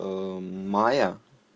майя